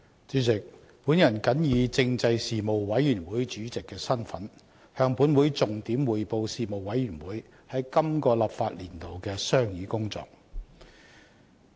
主席，我謹以政制事務委員會主席的身份，向本會重點匯報事務委員會於本立法年度的商議工作。